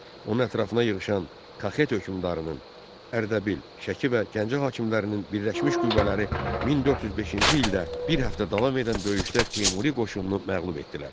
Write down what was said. Onun ətrafına yığışan Kaxet hökmdarının, Ərdəbil, Şəki və Gəncə hakimlərinin birləşmiş qüvvələri 1405-ci ildə bir həftə davam edən döyüşdə Teymuri qoşununu məğlub etdilər.